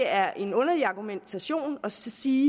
er en underlig argumentation at sige